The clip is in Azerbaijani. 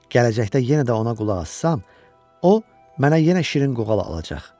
Gələcəkdə yenə də ona qulaq assam, o mənə yenə şirin qoğal alacaq.